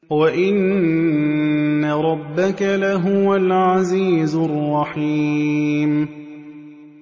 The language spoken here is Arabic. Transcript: وَإِنَّ رَبَّكَ لَهُوَ الْعَزِيزُ الرَّحِيمُ